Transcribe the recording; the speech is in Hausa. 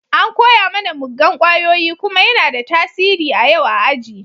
An koya mana muggan kwayoyi kuma yana da tasiri a yau a aji.